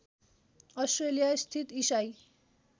Australia स्थित इसाई